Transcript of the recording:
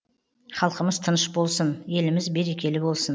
халқымыз тыныш болсын еліміз берекелі болсын